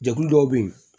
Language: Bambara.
Jɛkulu dɔw bɛ yen